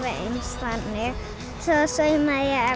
eins þannig svo saumaði ég